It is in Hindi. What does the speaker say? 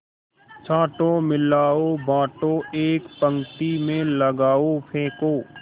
छाँटो मिलाओ बाँटो एक पंक्ति में लगाओ फेंको